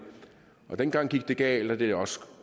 dengang gik det galt og det er også